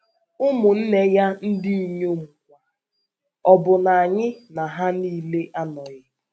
Ụmụnne ya ndị inyom kwa, ọ̀ bụ na anyị na ha nile anọghị? ”